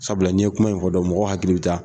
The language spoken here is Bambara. Sabula ni ye kuma in fɔ dɔrɔn mɔgɔ hakili bi taa